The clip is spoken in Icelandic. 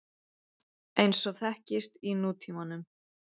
eins og þekkist í nútímanum.